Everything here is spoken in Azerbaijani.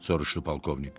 soruşdu polkovnik.